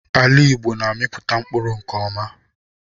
Ala Igbo na-amipụta mkpụrụ nke ọma